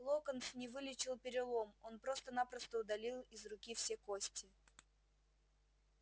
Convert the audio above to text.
локонс не вылечил перелом он просто-напросто удалил из руки все кости